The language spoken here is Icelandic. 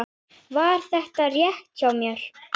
Var þetta rétt hjá mér?